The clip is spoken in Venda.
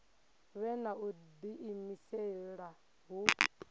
vhe na u diimisela hu